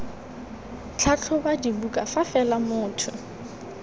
tlhatlhoba dibuka fa fela motho